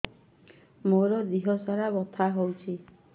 ମୋ ଦିହସାରା ବଥା ହଉଚି